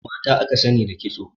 Mata aka sani da kitso.